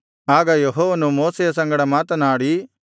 ಆಗ ಯೆಹೋವನು ಮೋಶೆಯ ಸಂಗಡ ಮಾತನಾಡಿ